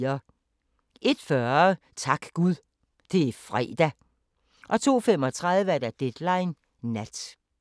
01:40: Tak Gud – det er fredag! 02:35: Deadline Nat